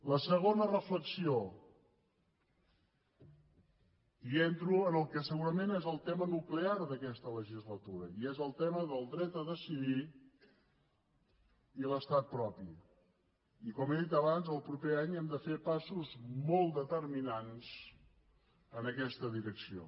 la segona reflexió i entro en el que segurament és el tema nuclear d’aquesta legislatura i és el tema del dret a decidir i l’estat propi i com he dit abans el proper any hem de fer passos molt determinants en aquesta direcció